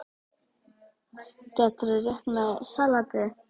Gætirðu rétt mér saltið?